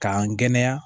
K'an kɛnɛya